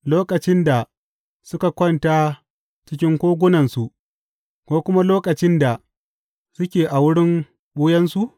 Lokacin da suka kwanta cikin kogunansu, ko kuma lokacin da suke a wurin ɓuyansu?